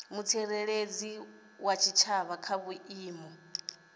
mutsireledzi wa tshitshavha kha vhuimo